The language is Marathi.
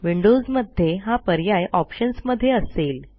विंडोजमध्ये हा पर्याय ऑप्शन्स मध्ये असेल